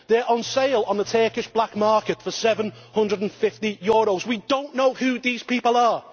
They are on sale on the Turkish black market for EUR 750. We do not know who these people are!